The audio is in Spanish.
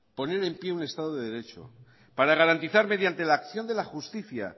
poner en pie un estado de derecho para garantizar mediante la acción de la justicia